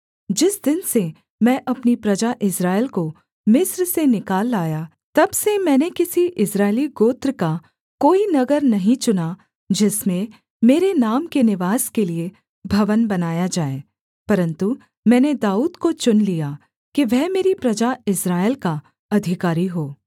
जिस दिन से मैं अपनी प्रजा इस्राएल को मिस्र से निकाल लाया तब से मैंने किसी इस्राएली गोत्र का कोई नगर नहीं चुना जिसमें मेरे नाम के निवास के लिये भवन बनाया जाए परन्तु मैंने दाऊद को चुन लिया कि वह मेरी प्रजा इस्राएल का अधिकारी हो